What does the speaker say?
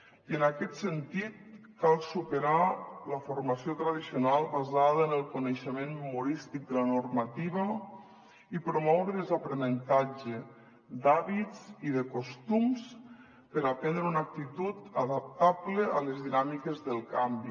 i en aquest sentit cal superar la formació tradicional basada en el coneixement memorístic de la normativa i promoure les d’aprenentatge d’hàbits i de costums per aprendre una actitud adaptable a les dinàmiques del canvi